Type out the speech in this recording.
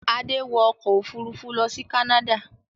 Adé wọ ọkọ̀-òfurufú lọ sí Canada.